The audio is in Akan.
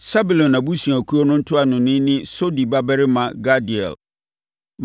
Sebulon abusuakuo no ntuanoni ne Sodi babarima Gadiel;